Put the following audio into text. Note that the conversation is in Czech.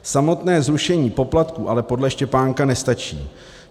Samotné zrušení poplatků ale podle Štěpánka nestačí.